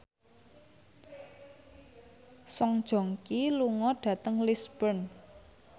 Song Joong Ki lunga dhateng Lisburn